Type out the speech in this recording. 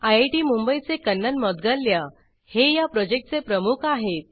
IIT Mumbai चे कन्नन मौद्गल्ल्या हे या प्रॉजेक्ट चे प्रमुख आहेत